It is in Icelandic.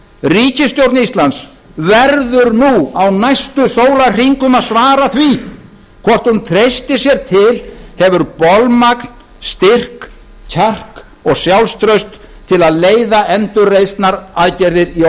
ríkisstjórn íslands verður nú á næstu sólarhringum að svara því hvort hún treystir sér til hefur bolmagn styrk kjark og sjálfstraust til að leiða endurreisnaraðgerðir í